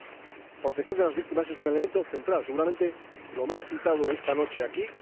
La protección de las víctimas es un elemento central, seguramente lo más citado esta noche aquí.